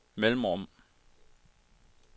mellemrum